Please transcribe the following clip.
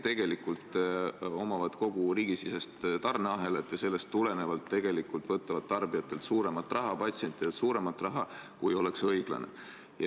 Tegelikult omavad nad kogu riigisisest tarneahelat ja sellest tulenevalt võtavad tarbijatelt, patsientidelt rohkem raha, kui oleks õiglane.